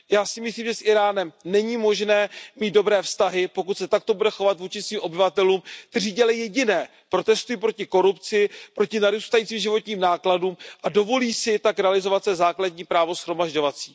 Já si myslím, že s Íránem není možné mít dobré vztahy, pokud se takto bude chovat vůči svým obyvatelům, kteří dělají jediné protestují proti korupci, proti narůstajícím životním nákladům a dovolí si tak realizovat své základní právo shromažďovací.